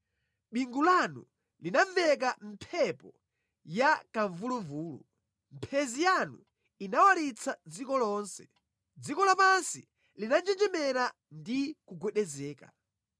Bingu lanu linamveka mʼmphepo ya kamvuluvulu, mphenzi yanu inawalitsa dziko lonse; dziko lapansi linanjenjemera ndi kugwedezeka.